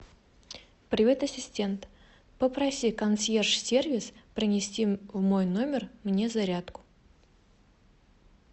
привет ассистент попроси консьерж сервис принести в мой номер мне зарядку